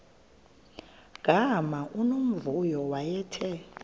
gama unomvuyo wayethe